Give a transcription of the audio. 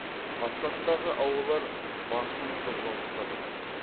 пассаттағы ауалар басым қозғалыста болады